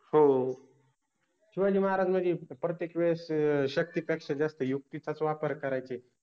हो, शिवाजि महाराज मनजे प्र्त्येक वेळेस शक्तिपेक्षा जास्त युक्तिचाच वापर करायचे